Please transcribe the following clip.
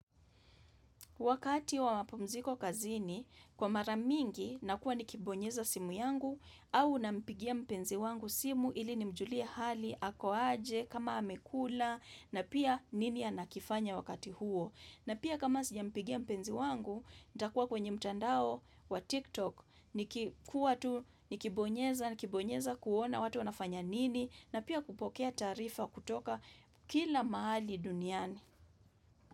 Wakati wa mapumziko kazini, kwa mara mingi, nakuwa nikibonyeza simu yangu au nampigia mpenzi wangu simu ili nimjulie hali, ako aje, kama amekula, na pia nini anakifanya wakati huo. Na pia kama sijampigia mpenzi wangu, nitakuwa kwenye mtandao wa TikTok, nikibonyeza, nikibonyeza kuona watu wanafanya nini, na pia kupokea taarifa kutoka kila mahali duniani.